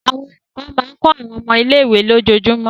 Àwọn olùkọ́ máa ń kọ́ àwọn ọmọ ilé-ìwé lójoojúmọ́.